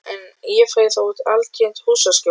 En ég fæ þó altént húsaskjól.